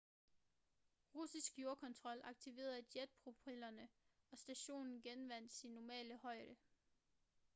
russisk jordkontrol aktiverede jetpropellerne og stationen genvandt sin normale højde